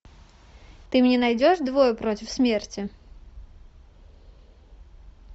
ты мне найдешь двое против смерти